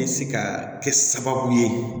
Bɛ se ka kɛ sababu ye